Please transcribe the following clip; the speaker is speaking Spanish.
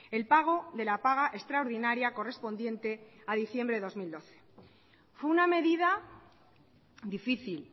el pago de la paga extraordinaria correspondiente a diciembre de dos mil doce fue una medida difícil